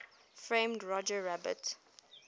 framed roger rabbit